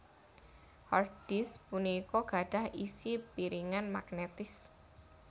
Hard disk punika gadhah isi piringan magnetis